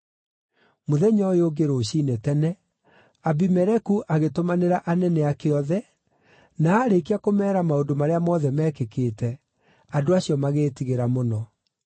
Mũthenya ũyũ ũngĩ rũciinĩ tene, Abimeleku agĩtũmanĩra anene ake othe, na aarĩkia kũmeera maũndũ marĩa mothe meekĩkĩte, andũ acio magĩĩtigĩra mũno.